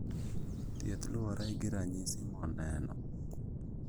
Thieth luore gi ranyisi moneno